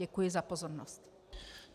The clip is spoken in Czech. Děkuji za pozornost.